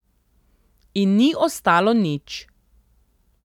In ni ostalo nič.